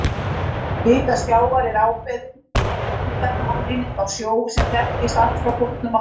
Vika sjávar er ákveðin lengdarmálseining á sjó sem þekkist allt frá fornu máli.